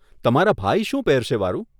તમારા ભાઈ શું પહેરશે, વારુ?